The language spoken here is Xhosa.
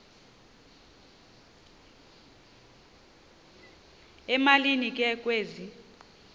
emalini ke kwezi